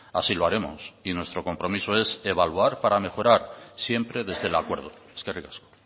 así lo haremos y nuestro compromiso es evaluar para mejorar siempre desde el acuerdo eskerrik asko